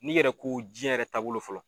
N'i yɛrɛ ko jɛn yɛrɛ taabolo fɔlɔ